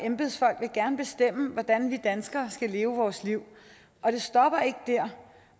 og embedsfolk vil gerne bestemme hvordan vi danskere skal leve vores liv og det stopper ikke der